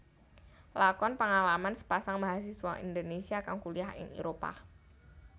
Lakon pangalaman sepasang mahasiswa Indonesia kang kuliyah ing Éropah